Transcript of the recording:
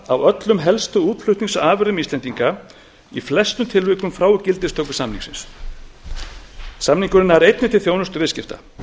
af öllum helstu útflutningsafurðum íslendinga í flestum tilvikum frá gildistöku samningsins samningurinn nær einnig til þjónustuviðskipta